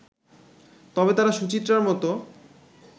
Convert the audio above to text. তবে তারা সুচিত্রার মতো